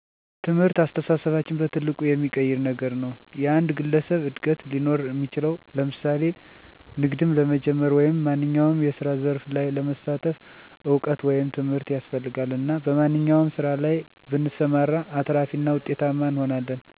ትምህርት አስተሳሰባችንን በትልቁ የሚቀይር ነገር ነዉ። የአንድ ግለሰብ እድገት ሊኖር እሚችለዉ ለምሳሌ ንግድም ለመጀመር ወይም ማንኛዉም የስራ ዘርፍ ላይ ለመሳተፍ እዉቀት ወይም ትምህርት ያስፈልጋል እና በማንኛዉም ስራ ላይ ብንሰማራ አትራፊ እና ዉጤታማ እንሆናለን። ኑሮአችን ይሻሻላል፣ በብዙ መንገድ መለወጥ እንችላለን። ማህበረሰቡ ላይ ደሞ አዳዲስ ቴክኖሎጂዎችን ለምሳሌ ጉልበትን የሚቀንሱ ማሽኖች የሽንኩርት መፍጫ፣ የቡና መፍጫ፣ የእህል ወፍጮ የመሳሰሉትን በማቅረብ ማህበረሰቡን ጉልበት በመቀነስ የተሻለ እድገት እንዲኖር ያደርጋል።